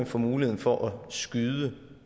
for muligheden for at skyde